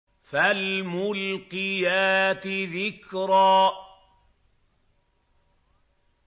فَالْمُلْقِيَاتِ ذِكْرًا